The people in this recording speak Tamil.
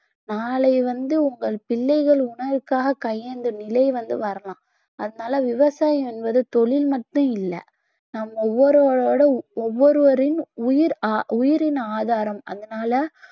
நாளை வந்து உங்கள் பிள்ளைகள் உணவுக்காகக் கையேந்தும் நிலை வந்து வரலாம் அதனால விவசாயம் என்பது தொழில் மட்டும் இல்ல நம்ம ஒவ்வொருவரோட ஒவ்வொருவரின் உயிர் ஆஹ் உயிரின் ஆதாரம் அதனால